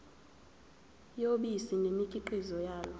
yobisi nemikhiqizo yalo